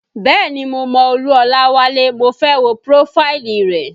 Bẹ́ẹ̀ni mo mọ Olú Olawale, mo fẹ́ wo prófáìlì rẹ̀